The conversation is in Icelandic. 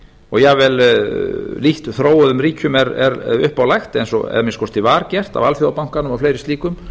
og jafnvel þróuðum ríkjum er upp á lagt eða að minnsta kosti var get af alþjóðabankanum og fleiri slíkum